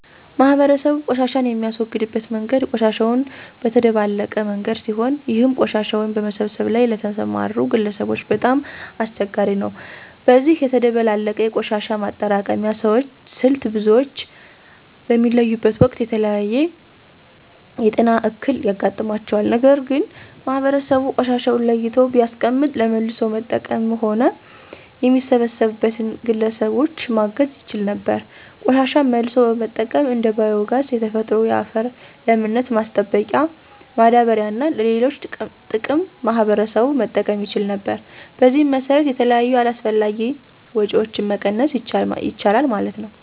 ማህበረሰቡ ቆሻሻን የሚያስወግድበት መንገድ ቆሻሻውን በተደባለቀ መንገድ ሲሆን ይህም ቆሻሻውን በመሰብሰብ ላይ ለተሰማሩ ግለሰቦች በጣም አስቸጋሪ ነው። በዚህ የተደባለቀ የቆሻሻ ማጠራቀሚያ ስልት ብዙዎች በሚለዩበት ወቅት የተለያየ የጤና እክል ያጋጥማቸዋል። ነገር ግን ማህበረሰቡ ቆሻሻውን ለይቶ ቢያስቀምጥ ለመልሶ መጠቀምም ሆነ የሚሰበሰብበትን ግለሰቦች ማገዝ ይቻል ነበር። ቆሻሻን መልሶ በመጠቀም እንደ ባዮ ጋዝ፣ የተፈጥሮ የአፈር ለምነት ማስጠበቂያ ማዳበሪያ እና ለሌሎች ጥቅም ማህበረሰቡ መጠቀም ይችል ነበር። በዚህም መሰረት የተለያዩ አላስፈላጊ ወጭዎችን መቀነስ ይቻላል ማለት ነው።